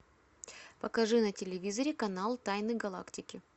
покажи на телевизоре канал тайны галактики